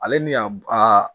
Ale ni a